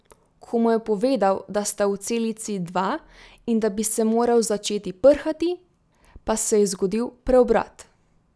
Ko mu je povedal, da sta v celici dva in da bi se moral začeti prhati, pa se je zgodil preobrat.